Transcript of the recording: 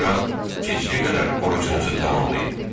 Sonra gecəyə qədər orucunuzu tamamlayın.